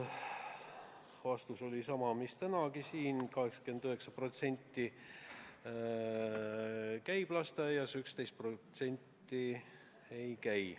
Vastus oli sama, mis tänagi siin: 89% käib lasteaias, 11% ei käi.